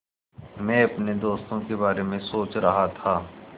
मैं अपने दोस्तों के बारे में सोच रहा था